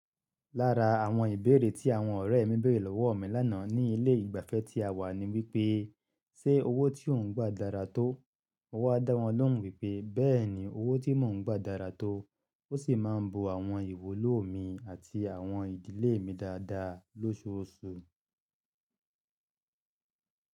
Lára àwọn ìbéèrè tí àwọn ọ̀rẹ́ mi béèrè lọ́wọ́ mi lánàá ní ilé ìgbafẹ́ tí a wà ní wípé, ṣe owó tí ò ń gba dára tó? Mo wá dá wọn lóhùn wípé bẹ́ẹ̀ni owó tí mò ń gba dára tó, ó sì má ń bo àwọn ìwúlò mi àti àwọn ìdílé mi dáadáa loṣooṣù.